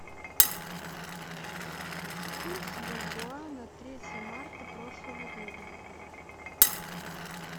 курс бальбоа на третье марта прошлого года